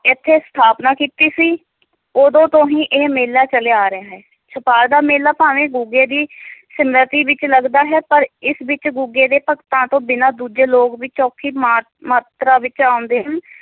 ਇੱਥੇ ਸਥਾਪਨਾ ਕੀਤੀ ਸੀ l ਉਦੋਂ ਤੋਂ ਹੀ ਇਹ ਮੇਲਾ ਚੱਲਿਆ ਆ ਰਿਹਾ ਹੈ, ਛਪਾਰ ਦਾ ਮੇਲਾ ਭਾਵੇਂ ਗੁੱਗੇ ਦੀ ਸਿਮਰਤੀ ਵਿੱਚ ਲਗਦਾ ਹੈ, ਪਰ ਇਸ ਵਿੱਚ ਗੁੱਗੇ ਦੇ ਭਗਤਾਂ ਤੋਂ ਬਿਨਾਂ ਦੂਜੇ ਲੋਕ ਵੀ ਚੋਖੀ ਮਾ~ ਮਾਤਰਾ ਵਿੱਚ ਆਉਂਦੇ ਹਨ।